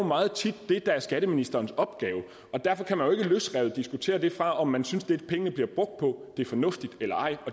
meget tit det der er skatteministerens opgave derfor kan man jo ikke løsrevet diskutere det fra om man synes at det pengene bliver brugt på er fornuftigt eller ej